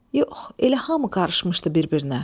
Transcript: Yox, elə hamı qarışmışdı bir-birinə.